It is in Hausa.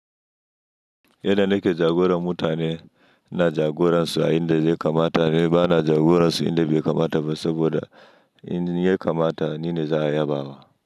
Yanda nake jagoran mutane, ina jagoransu a inda zai kamata ne ba na jagoransu inda bai kamata ba saboda in ya kamata ni ne za a yabawa.